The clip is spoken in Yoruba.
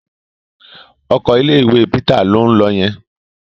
Ọkọ̀ ilé-ìwé Peter ló ń lọ yẹn.